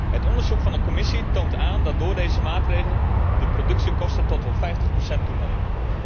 Het onderzoek van de Commissie toont aan dat door deze maatregel de productiekosten tot wel 50 procent toenemen.